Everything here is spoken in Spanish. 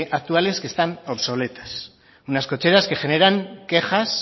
actuales que están obsoletas unas cocheras que generan quejas